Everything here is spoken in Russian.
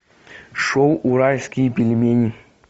шоу уральские пельмени